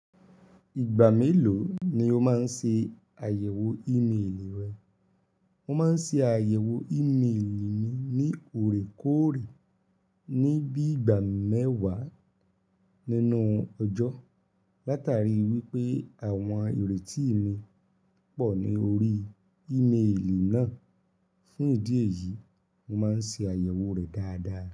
Ìgbà mélòó ni o máa ń ṣe àyẹ̀wò ímélì rẹ̀? Mo máa ń ṣe àyẹ̀wò ímélì mi ní òrékóòrè, ní bí i ìgbà mẹ́wàá nínú ọjọ́, látàrí wípé àwọn ìrètí mi pọ̀ ní orí ímélì náà. Fún ìdí èyí, mo máa ń ṣe àyẹ̀wò rẹ̀ dáadáa.